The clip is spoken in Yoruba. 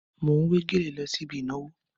Mò ń wé gèlè lọ sí ibi ìnàwó.